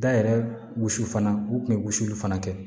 Da yɛrɛ wusu fana u kun bɛ wusuli fana kɛ